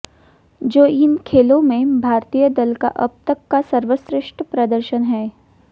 जो इन खेलों में भारतीय दल का अब तक का सर्वश्रेष्ठ प्रदर्शन है